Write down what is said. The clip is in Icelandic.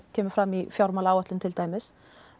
kemur fram í fjármálaáætlun til dæmis